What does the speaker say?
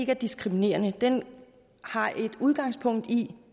er diskriminerende den har et udgangpunkt i